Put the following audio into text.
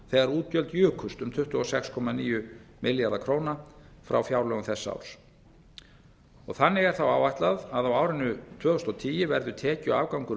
þegar útgjöld jukust um tuttugu og sex komma níu milljarða króna frá fjárlögum þess árs þannig er þá áætlað að á árinu tvö þúsund og tíu verði tekjuafgangur